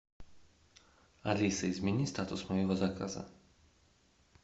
алиса измени статус моего заказа